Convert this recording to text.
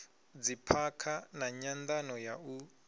dziphakha na nyandano ya u